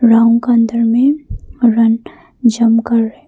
ground का अंदर में रन जंप कर रहे--